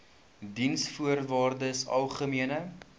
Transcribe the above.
diensvoorwaardesalgemene